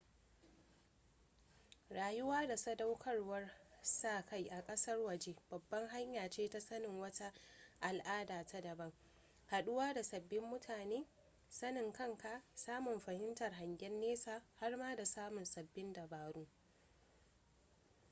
rayuwa da sadaukarwar sa-kai a ƙasar waje babbar hanya ce ta sanin wata al'ada ta daban haɗuwa da sabbin mutane sanin kanka samun fahimtar hangen nesa har ma da samun sabbin dabaru